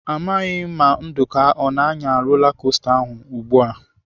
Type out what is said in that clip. Amaghị m Nduka ọ na-anya rola kosta ahụ ugbu a.